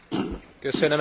Elnök úr!